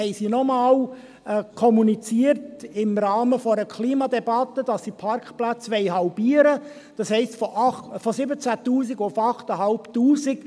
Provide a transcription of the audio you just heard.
Am 27. Mai 2019 haben sie im Rahmen einer Klimadebatte noch einmal kommuniziert, dass sie die Parkplätze halbieren wollen, das heisst, von 17 000 auf 8500.